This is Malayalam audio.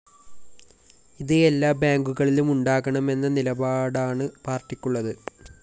ഇത് എല്ലാ ബാങ്കുകളിലും ഉണ്ടാകണമെന്ന നിലപാടാണ് പാര്‍ട്ടിക്കുള്ളത്